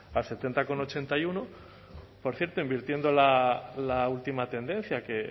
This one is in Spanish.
al setenta coma ochenta y uno por cierto invirtiendo la última tendencia que